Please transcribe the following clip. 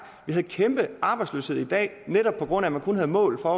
vi har en kæmpe arbejdsløshed i dag netop på grund af man kun havde mål for